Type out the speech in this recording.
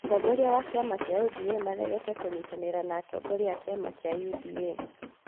Mũtongoria wa kĩama kĩa ODMnĩ aregete kũnyitanĩra na atongoria a kiama kĩa UDA